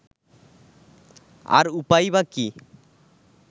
আর উপায়ই বা কী